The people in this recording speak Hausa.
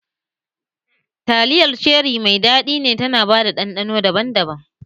Taliyar ceri mai daɗi ne tana ba da ɗanɗano daban-daban